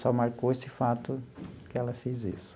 Só marcou esse fato que ela fez isso.